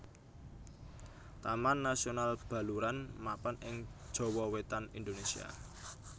Taman Nasional Baluran mapan ing Jawa Wetan Indonésia